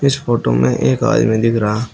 इस फोटो में एक आदमी दिख रहा--